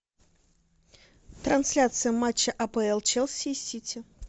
трансляция матча апл челси и сити